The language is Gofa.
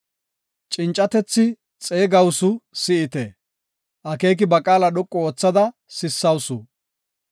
Cincatethi xeegawusu; si7ite; akeeki ba qaala dhoqu oothida sissawusu.